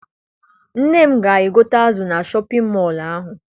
Nne m ga gote azụ na Shọpịn mọọ ahụ.